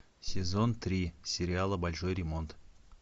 сезон три сериала большой ремонт